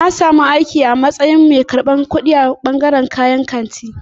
Na samu aiki a matsayin mai karɓar kuɗi a kantin sayar da kayayyaki.